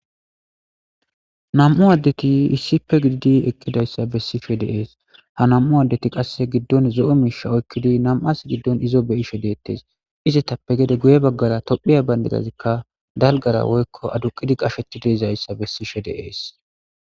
Nam'u addeti issippe gididi eqidaysi beshishe de'es. ha nam'u addeti gidon zo'o mishi oyqidi nam'as gidon izo be'ishe deetes. Izetappe gede guye bagara tophiya bandirazika dalgara woyko adduqi qashetidaysa besishe de'es.